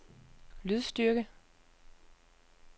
lydstyrke